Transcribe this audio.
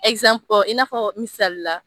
Ɛkizanpu in'a fɔ misalila